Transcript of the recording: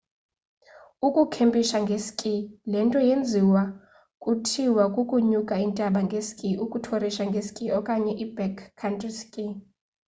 ukukhempisha nge-ski le nto yenziwayo kuthiwa kukunyuka intaba nge-ski ukuthorisha nge-ski okanye i-backcountry ski